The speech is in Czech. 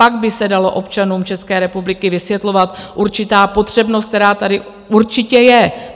Pak by se dala občanům České republiky vysvětlovat určitá potřebnost, která tady určitě je.